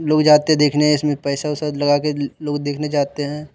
लोग जाते देखने इसमें पैसा वैसा लगा के लोग देखने जाते हैं।